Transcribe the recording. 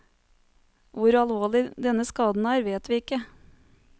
Hvor alvorlig denne skaden er vet vi ikke.